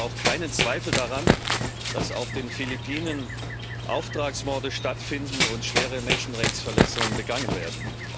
Ich habe aber auch keinen Zweifel daran, dass auf den Philippinen Auftragsmorde stattfinden und schwere Menschenrechtsverletzungen begangen werden.